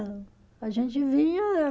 A gente vinha